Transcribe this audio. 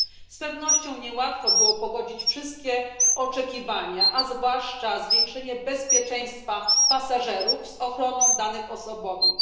Z pewnością niełatwo było pogodzić wszystkie oczekiwania, a zwłaszcza zwiększenie bezpieczeństwa pasażerów z ochroną danych osobowych.